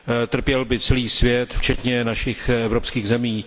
Trpěl by celý svět včetně našich evropských zemí.